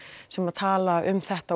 sem tala um þetta